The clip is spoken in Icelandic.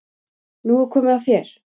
Nú er komið að þér.